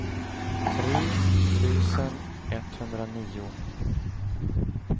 tre tusen etthundranio